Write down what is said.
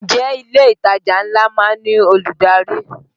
Ǹjẹ́ ilé ìtajà ńlá má ń ní olùdarí?